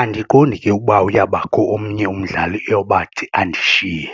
Andiqondi ke ukuba uyawubakho omnye umdlali eyowubathi andishiye.